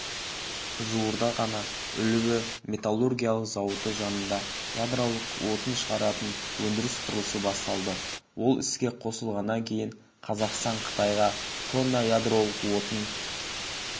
жуырда ғана үлбі металлургиялық зауыты жанында ядролық отын шығаратын өндіріс құрылысы басталды ол іске қосылғаннан кейін қазақстан қытайға тонна ядролық отын